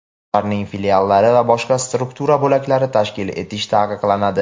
ularning filiallari va boshqa struktura bo‘laklari tashkil etish taqiqlanadi.